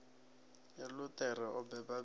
ya luṱere o beba bege